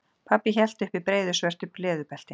Pabbi hélt uppi breiðu svörtu leðurbelti.